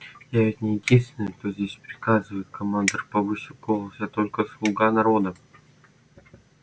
я ведь не единственный кто здесь приказывает командор повысил голос я только слуга народа